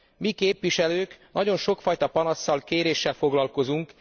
Mi, képviselők nagyon sokfajta panasszal, kéréssel foglalkozunk.